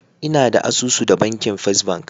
Ina da asusu da banki First bank.